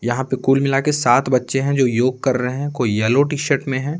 यहां पे कुल मिला के सात बच्चे हैं जो योग कर रहे हैं कोई येलो टी-शर्ट में है।